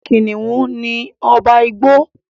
kìnìún ní ọba igbó.